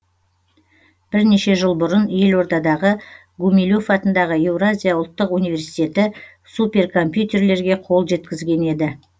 бірнеше жыл бұрын елордадағы гумилев атындағы еуразия ұлттық университеті суперкомпьютерлерге қол жеткізген еді